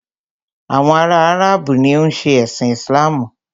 Àwọn ará Áràbù ni o ń ṣe ẹ̀sin Islamu.